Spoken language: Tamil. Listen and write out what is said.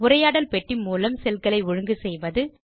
உரையாடல் பெட்டி மூலம் செல் களை ஒழுங்கு செய்வது